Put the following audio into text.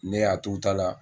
Ne y'a t'u ta la.